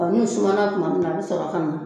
Ɔ n'u sumana tuma min na a bɛ sɔrɔ ka